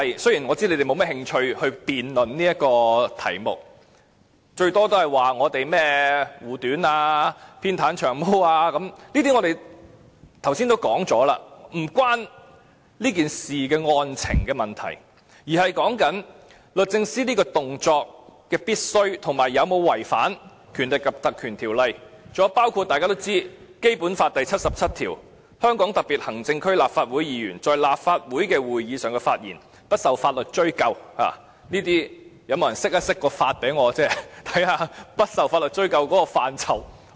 雖然我知道你們沒有甚麼興趣辯論這個題目，大不了說我們護短，偏袒"長毛"，這些我們剛才已說過，與這事的案情無關，而是律政司這個動作是否必要，以及有否違反《立法會條例》，還有就是大家都知道的《基本法》第七十七條，"香港特別行政區立法會議員在立法會的會議上發言，不受法律追究"，這裏有沒有人可以向我釋法，讓我知道不受法律追究的範疇為何。